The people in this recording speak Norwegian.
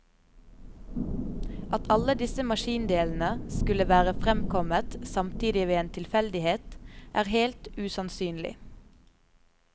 At alle disse maskindelene skulle være fremkommet samtidig ved en tilfeldighet, er helt usannsynlig.